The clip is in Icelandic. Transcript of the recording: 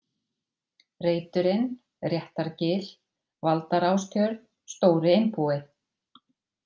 Reiturinn, Réttargil, Valdarástjörn, Stóri-Einbúi